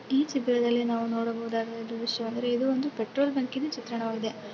E ಚಿತ್ರದಲ್ಲಿ ನಾವು ನೋಡಬಹುದಾದ ದೃಶ್ಯ ಅಂದರೆ ಇದು ಒಂದು ಪೆಟ್ರೋಲ್ ಬಂಕಿನ ಚಿತ್ರಣ ವಾಗಿದೆ.